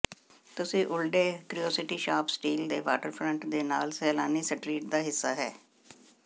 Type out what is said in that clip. ਤੁਸੀ Olde Curiosity Shop still ਦੇ waterfront ਦੇ ਨਾਲ ਸੈਲਾਨੀ ਸਟਰੀਟ ਦਾ ਹਿੱਸਾ ਹੈ